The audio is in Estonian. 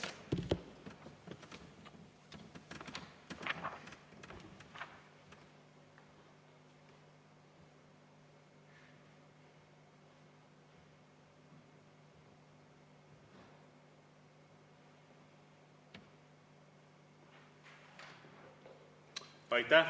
Aitäh!